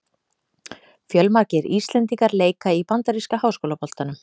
Fjölmargir íslendingar leika í bandaríska háskólaboltanum.